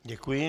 Děkuji.